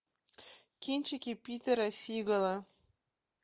кинчики питера сигала